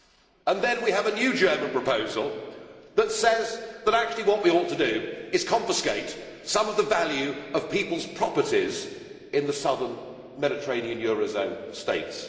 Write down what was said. And then we have a new German proposal that says that actually what we ought to do is confiscate some of the value of people's properties in the Southern Mediterranean eurozone States.